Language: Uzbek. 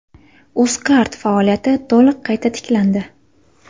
Uzcard faoliyati to‘liq qayta tiklandi.